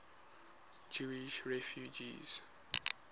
jewish refugees